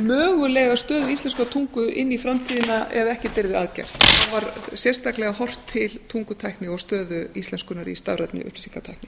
mögulega stöðu íslenskrar tungu inn í framtíðina ef ekkert yrði að gert það var sérstaklega horft til tungutækni og stöðu íslenskunnar í stafrænni upplýsingatækni